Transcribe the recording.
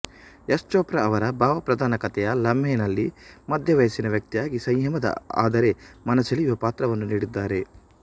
ಯಶ್ ಚೋಪ್ರಾ ಅವರ ಭಾವಪ್ರಧಾನ ಕಥೆಯ ಲಾಮ್ಹೆ ನಲ್ಲಿ ಮಧ್ಯವಯಸ್ಸಿನ ವ್ಯಕ್ತಿಯಾಗಿ ಸಂಯಮದ ಆದರೆ ಮನಸೆಳೆಯುವ ಪಾತ್ರವನ್ನು ನೀಡಿದ್ದಾರೆ